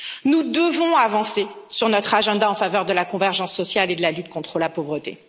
Nous devons avancer sur notre agenda en faveur de la convergence sociale et de la lutte contre la pauvreté.